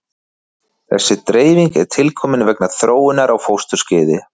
Þessi dreifing er tilkomin vegna þróunar á fósturskeiði.